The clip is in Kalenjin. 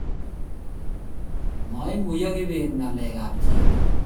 maiguyo kibet ngalek ab jebet